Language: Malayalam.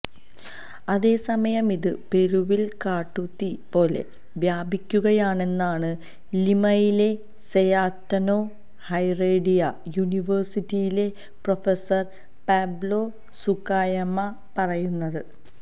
അതേസമയം ഇത് പെറുവിൽ കാട്ടുതീ പോലെ വ്യാപിക്കുകയാണെന്നാണ് ലിമയിലെ സെയാറ്റനോ ഹെറേഡിയ യൂണിവേഴ്സിറ്റിയിലെ പ്രൊഫസർ പാബ്ലോ സുക്കായാമ പറയുന്നത്